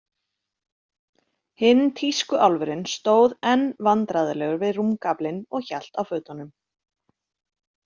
Hinn tískuálfurinn stóð enn vandræðalegur við rúmgaflinn og hélt á fötunum.